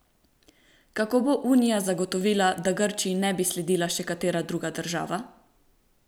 Kako bo Unija zagotovila, da Grčiji ne bi sledila še katera druga država?